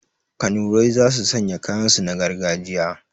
Kanurai za su sanya kayan su na gargajiya